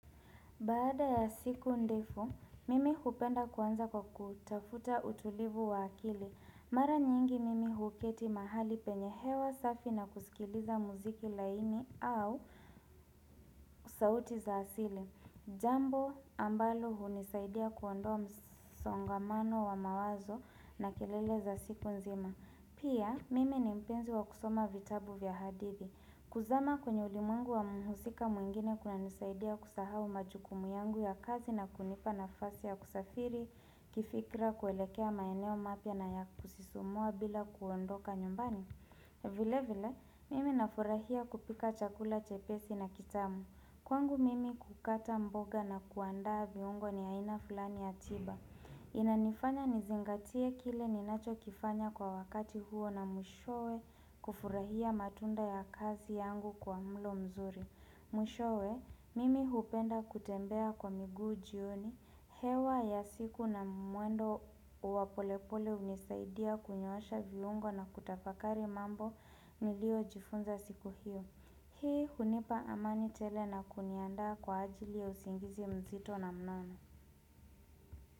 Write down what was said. Baada ya siku ndefu, mimi hupenda kuanza kwa kutafuta utulivu wa akili. Mara nyingi mimi huketi mahali penyehewa safi na kusikiliza muziki laini au sauti za asili. Jambo ambalo hunisaidia kuondoa msongamano wa mawazo na kelele za siku nzima. Pia, mimi ni mpenzi wa kusoma vitabu vya hadithi. Kuzama kwenye ulimungu wa muhusika muingine kuna nisaidia kusahau majukumu yangu ya kazi na kunipa na fasi ya kusafiri, kifikra kuelekea maeneo mapya na ya kusisumua bila kuondoka nyumbani. Vile vile, mimi nafurahia kupika chakula chepesi na kitamu. Kwangu mimi kukata mboga na kuandaa viungo ni aina fulani ya tiba. Inanifanya nizingatie kile ninacho kifanya kwa wakati huo na mwishowe kufurahia matunda ya kazi yangu kwa mlo mzuri Mwishowe, mimi hupenda kutembea kwa migu jioni hewa ya siku na mwendo wapolepole unisaidia kunyosha viungo na kutafakari mambo nilio jifunza siku hiyo Hii hunipa amani tele na kunianda kwa ajili ya usingizi mzito na mnono.